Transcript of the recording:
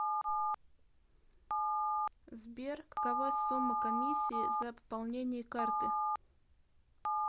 сбер какова сумма комиссии за пополнение карты